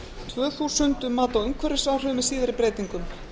tvö þúsund um mat á umhverfisáhrifum með síðari breytingum